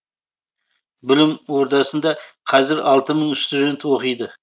білім ордасында қазір алты мың студент оқиды